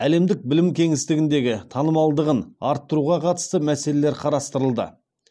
әлемдік білім кеңістігіндегі танымалдығын арттыруға қатысты мәселелер қарастырылды